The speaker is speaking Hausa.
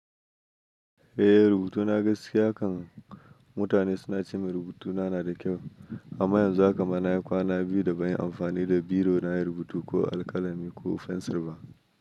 Eh rubutuna gaskiya kan mutane suna ce min rubutuna na da kyau amma yanzu haka ma na yi kwana biyu da ban yi amfani da biro na rubutu ko alkalami ko fensir ba.